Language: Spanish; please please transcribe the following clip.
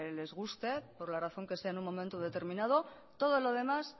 les guste por la razón que sea en un momento determinado todo lo demás